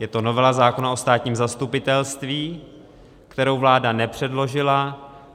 Je to novela zákona o státním zastupitelství, kterou vláda nepředložila.